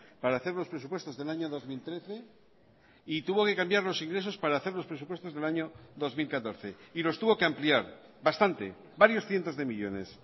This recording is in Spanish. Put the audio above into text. para hacer los presupuestos del año dos mil trece y tuvo que cambiar los ingresos para hacer los presupuestos del año dos mil catorce y los tuvo que ampliar bastante varios cientos de millónes